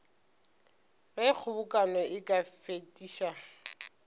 ge kgobokano e ka fetiša